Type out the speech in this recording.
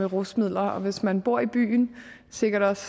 rusmiddel og hvis man bor i byen og sikkert også